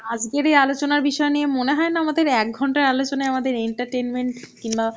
আজগের এই আলোচনার বিষয়ে নিয়ে মনে হয়েনা আমাদের এক ঘন্টার আলোচনায় আমাদের entertainment কিনবা